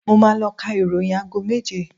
Mo máa ló ka ìròyìn aago méje